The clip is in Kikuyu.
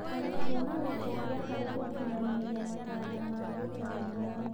arutwo na gũteithia harĩ gũkinyanĩria matanya ma gĩthomo.